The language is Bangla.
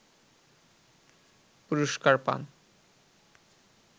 পুরস্কার পান